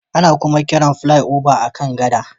Ana kuma kiran Flyover a kan gada